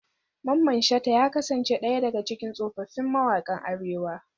Mamman shata ya kasance daya daga cikin tsofaffin mawakan arewa.